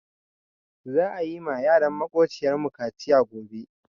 Za'a yi ma yaran maƙociyar mu kaciya gobe.